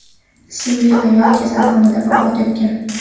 ismli ayol kasalxonada vafot etgan.